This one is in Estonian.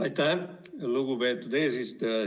Aitäh, lugupeetud eesistuja!